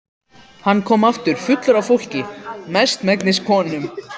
Hann kom aftur fullur af fólki, mestmegnis konum.